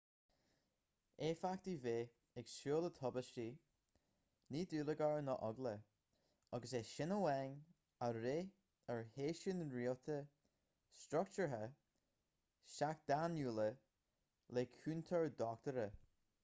éifeachtaí bheith ag súil le tubaistí ní dúlagar ná eagla agus é sin amháin a bhraith ar sheisiúin rialta struchtúrtha seachtainiúla le cúntóir dochtúra